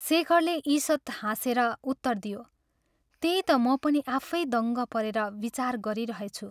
शेखरले ईषत् हाँसेर उत्तर दियो "त्यही ता म पनि आफै दङ्ग परेर विचार गरिरहेछु।